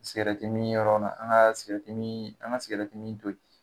Sigɛrɛti mi yɔrɔ nan an ga an sigɛrɛtimi an ga sigɛrɛtimi to yen